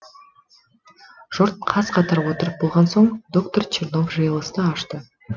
жұрт қаз қатар отырып болған соң доктор чернов жиылысты ашты